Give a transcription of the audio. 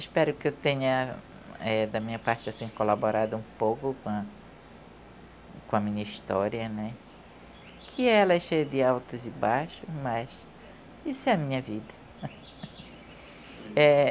Espero que eu tenha, eh da minha parte, assim, colaborado um pouco com a com a minha história, né, que ela é cheia de altos e baixos, mas isso é a minha vida. Eh...